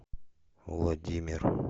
владимир